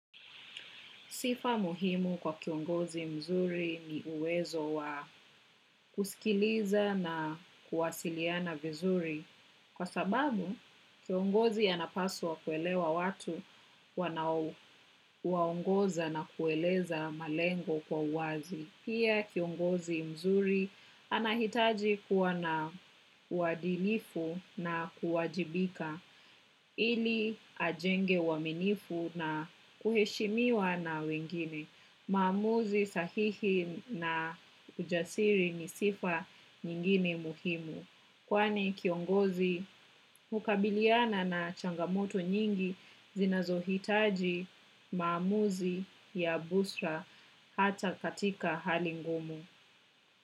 Sifa muhimu kwa kiongozi mzuri ni uwezo wa kusikiliza na kuwasiliana vizuri kwa sababu, kiongozi anapaswa kuelewa watu, wanao waongoza na kueleza malengo, kwa uwazi. Pia, kiongozi mzuri anahitaji kuwa na uwadilifu na kuwajibika, ili ajenge uwaminifu na kuheshimiwa na wengine. Maamuzi sahihi na ujasiri, ni sifa nyingine muhimu. Kwani kiongozi ukabiliana na changamoto nyingi, zinazohitaji maamuzi, ya busra hata katika hali ngumu.